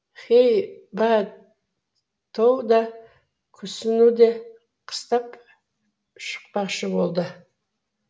хей ба тоу да кусунуде қыстап шықпақшы болды